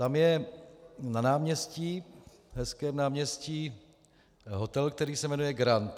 Tam je na náměstí, hezkém náměstí, hotel, který se jmenuje Grand.